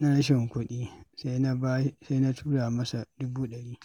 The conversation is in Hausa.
rashin kuɗi, sai na tura masa dubu ɗari.